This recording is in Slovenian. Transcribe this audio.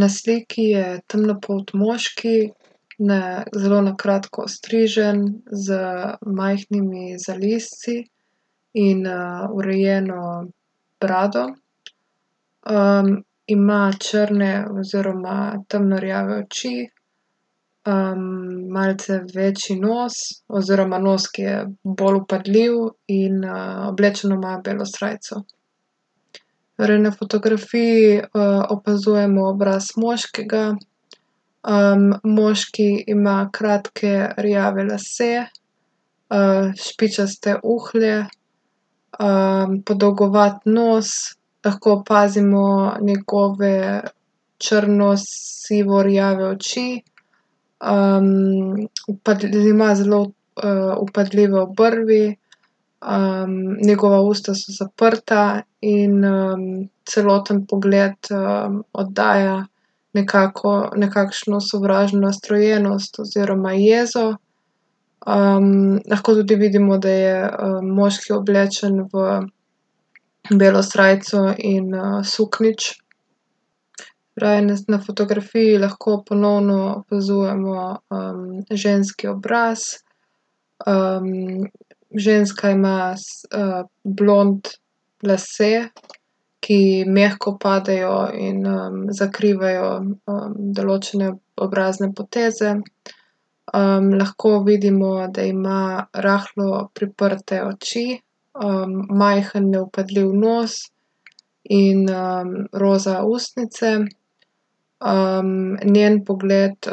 Na sliki je temnopolt moški, zelo na kratko ostrižen, z majhnimi zalizci in, urejeno brado. ima črne oziroma temno rjave oči, malce večji nos oziroma nos, ki je bolj vpadljiv, in, oblečeno ima belo srajco. Torej na fotografiji, opazujemo obraz moškega. moški ima kratke rjave lase, špičaste uhlje, podolgovat nos, lahko opazimo njegove črno-sivo-rjave oči. ima zelo, vpadljive obrvi, njegova usta so zaprta in, celoten pogled, oddaja nekakšno sovražno nastrojenost oziroma jezo. lahko tudi vidimo, da je, moški oblečen v belo srajco in, suknjič. Torej na fotografiji lahko ponovno opazujemo, ženski obraz, ženska ima blond lase, ki ji mehko padajo in, zakrivajo, določene obrazne poteze. lahko vidimo, da ima rahlo priprte oči, majhen, nevpadljiv nos in, roza ustnice. njen pogled,